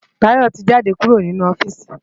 Tayo ti jádé kúró ninú ofìsí